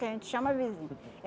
Que a gente chama vizinho.